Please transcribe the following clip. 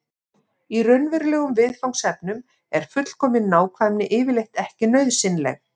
í raunverulegum viðfangsefnum er fullkomin nákvæmni yfirleitt ekki nauðsynleg